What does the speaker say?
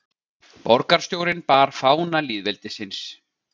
Borgarstjórinn bar fána lýðveldisins